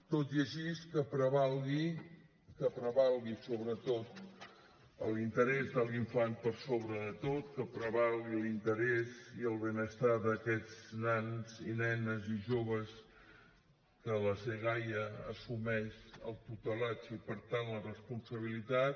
tot i així que prevalgui que prevalgui sobretot l’interès de l’infant per sobre de tot que prevalgui l’interès i el benestar d’aquests nens i nenes i joves que la dgaia n’assumeix la tutela i per tant la responsabilitat